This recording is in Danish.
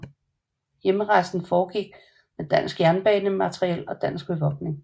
Hjemrejsen foregik med dansk jernbanematriel og dansk bevogtning